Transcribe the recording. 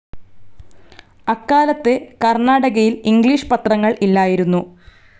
അക്കാലത്ത് കർണാടകയിൽ ഇംഗ്ലീഷ് പത്രങ്ങൾ ഇല്ലായിരുന്നു.